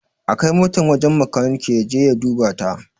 A kai motan wajen makaniki ya je ya duba ta!